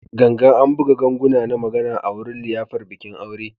Gangan, an buga ganguna na magana a wurin liyafar bikin aure